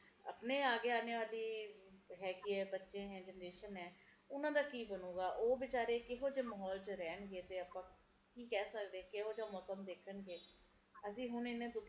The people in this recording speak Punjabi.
ਜਿਹੜੇ ਪਹਾੜੀ ਇਲਾਕੇ ਐ ਇਹ ਜੀਓ ਇਲਾਕੇ ਜਿਥੇ ਨਦੀਆਂ ਐ ਬਾੜ ਜਿਥੇ ਆਂਦੀ ਐ ਓਹਨਾ ਲੋਕਾਂ ਦੇ ਲਏ ਜ਼ਿੰਦਗੀ ਕਿੰਨੇ ਔਖੀ ਐ ਉਸ ਸਮੇ ਕਿੰਨਾ ਔਖਾ ਹੋ ਜਾਂਦਾ